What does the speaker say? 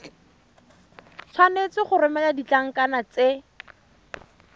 tshwanetse go romela ditlankana tse